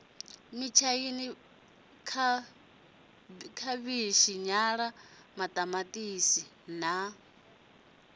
mitshaina khavhitshi nyala maṱamaṱisi na